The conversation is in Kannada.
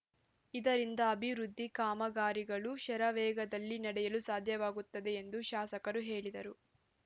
ಇದರಿಂದ ಅಭಿವೃದ್ದಿ ಕಾಮಗಾರಿಗಳು ಶರವೇಗದಲ್ಲಿ ನಡೆಯಲು ಸಾಧ್ಯವಾಗುತ್ತದೆ ಎಂದು ಶಾಸಕರು ಹೇಳಿದರು